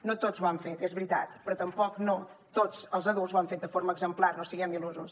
no tots ho han fet és veritat però tampoc no tots els adults ho han fet de forma exemplar no siguem il·lusos